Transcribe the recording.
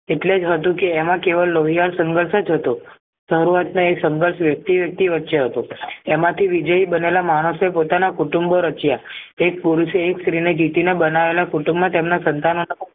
એટલેજ હતું કે એમાં કેવળ લોહિયાળ સંઘર્ષ જ હતો સારુવાતના એ સંઘર્ષ વ્યક્તિ વ્યક્તિ વચ્ચે હતો એમ થી વિજય બનેલા માણસો પોતાના કુટુંબો રચ્યા એક પુરુષે એક સ્ત્રીને જીતીને બનાવેલા કુટુંબમાં તેમના